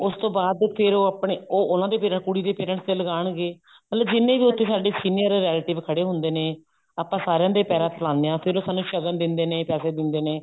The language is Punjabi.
ਉਸ ਤੋਂ ਬਾਅਦ ਫੇਰ ਉਹ ਆਪਨੇ ਉਹ ਉਹਨਾਂ ਦੇ ਫੇਰ ਕੁੜੀ ਦੇ parents ਦੇ ਲਗਾਨਗੇ ਮਤਲਬ ਜਿੰਨੇ ਵੀ ਸਾਡੇ ਉੱਥੇ senior relative ਖੜੇ ਹੁੰਦੇ ਨੇ ਆਪਾਂ ਸਾਰਿਆਂ ਦੇ ਪੈਰਾਂ ਹੱਥ ਲਾਉਂਦੇ ਹਾਂ ਫੇਰ ਉਹ ਸਾਨੂੰ ਸ਼ਗਨ ਦਿੰਦੇ ਨੇ ਪੈਸੇ ਦਿੰਦੇ ਨੇ